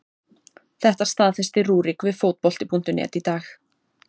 Þetta staðfesti Rúrik við Fótbolti.net í dag.